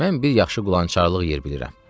Mən bir yaxşı qulançarlıq yer bilirəm.